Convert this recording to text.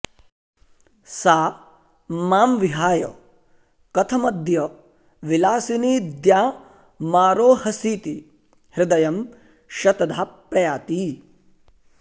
सा मां विहाय कथमद्य विलासिनि द्यामारोहसीति हृदयं शतधा प्रयाति